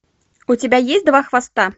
у тебя есть два хвоста